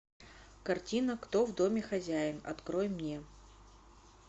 картина кто в доме хозяин открой мне